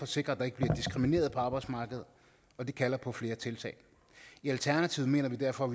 sikre at der ikke bliver diskrimineret på arbejdsmarkedet og det kalder på flere tiltag i alternativet mener vi derfor